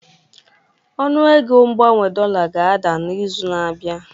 Ọnụego mgbanwe dollar ga-ada n'izu na-abịa